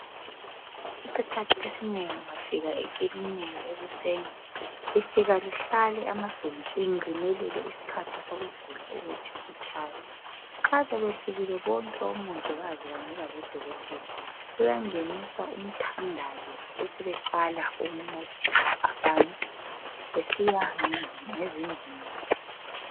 Isikhathi esinengi ungafika ekilinika ekuseni. Lifika lihlale amabhentshini limelele isikhathi sokuvula ukuthi sitshaye. Nxa sebefikile bonke omongikazi kanye labodokotela, kuyangeniswa umthandazo besebeqala ukuncedisa abantu kusiya ngezindingo zabo.